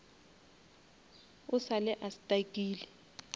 o sa le a stuckile